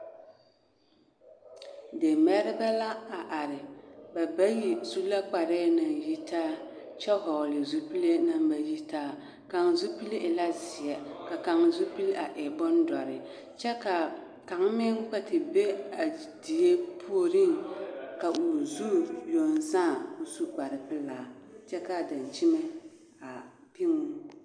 Demɛrebɛ la a are ba bayi su la kparɛɛ na yitaa kyɛ hɔɔle zupile na ba yitaa kaŋ zupili e la zeɛ ka kaŋ zupili e dɔre kyɛ ka kaŋ meŋ kpɛ te be a die puoriŋ ka o zu yoŋ sãã kyɛ ka o su kparpelaa kyɛ ka a daŋkyime a piɡi o.